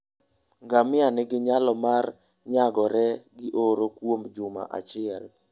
Ngamia nigi nyalo mar nyagore gi oro kuom juma achiel.